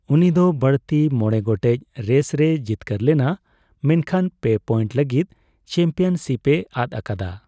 ᱩᱱᱤ ᱫᱚ ᱵᱟᱹᱲᱛᱤ ᱢᱚᱬᱮ ᱜᱚᱴᱮᱡ ᱨᱮᱥ ᱨᱮᱭ ᱡᱤᱛᱠᱟᱹᱨ ᱞᱮᱱᱟ ᱢᱮᱱᱠᱷᱟᱱ ᱯᱮ ᱯᱚᱭᱮᱱᱴ ᱞᱟᱹᱜᱤᱫ ᱪᱟᱢᱯᱤᱭᱚᱱᱥᱤᱯᱮ ᱟᱫ ᱟᱠᱟᱫᱟ ᱾